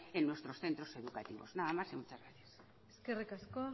en nuestros centro educativos nada más y muchas gracias eskerrik asko